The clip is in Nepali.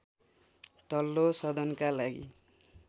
तल्लो सदनका लागि